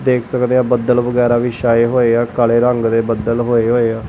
ਦੇਖ ਸਕਦੇ ਆ ਬੱਦਲ ਵਗੈਰਾ ਵੀ ਛਾਏ ਹੋਏ ਆ ਕਾਲੇ ਰੰਗ ਦੇ ਬੱਦਲ ਹੋਏ ਹੋਏ ਆ।